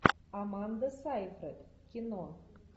аманда сайфред кино